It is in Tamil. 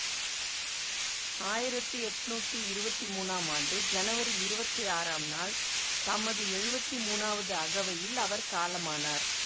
ஆயிரத்தி எட்ணூத்தி இருவத்தி மூனாம் ஆண்டு ஜனவரி இருவத்தி ஆறாம் நாள் தமது எழுவத்தி மூனாவது அகவையில் அவர் காலமானார்